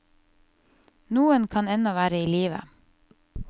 Noen kan ennå være i live.